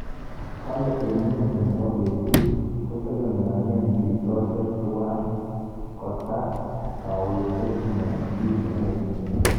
Kale, eng mwisho nebo betut, ko tegemeane bitosyek tuwai kotar kawechet ne tinyegei